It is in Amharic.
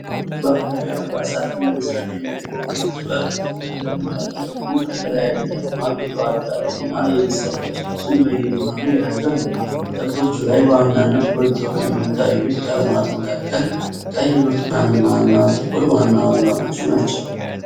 ባህላዊ አልባሳትን ለመስራት የሚያገለግል ጥበብ ጥልፍ ተቀምጧል። ጥልፉ ከተለያዩ ቀለማት የተዋቀረ እና የመስቀል ቅርጾችን በየመሃሉ የያዘ ነው። ጥልፎቹ ላይ በዋናነት ጎልተው ከሚታዩት ቀለማት መካከል ቀይ፣ ብርቱካናማ እና ጥቁር ዋናዎቹ ናቸው።